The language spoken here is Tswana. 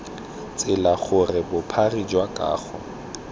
tsela gore bophara jwa kago